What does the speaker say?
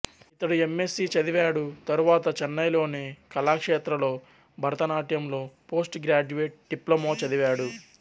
ఇతడు M S C చదివాడు తరువాత చెన్నైలోని కళాక్షేత్రలో భరతనాట్యంలో పోస్ట్ గ్రాడ్యుయేట్ డిప్లొమా చదివాడు